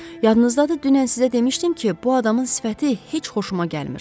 Yadınızdadır, dünən sizə demişdim ki, bu adamın sifəti heç xoşuma gəlmir.